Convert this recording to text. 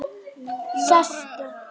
Sestu